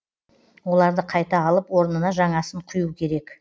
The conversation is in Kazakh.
оларды қайта алып орнына жаңасын құю керек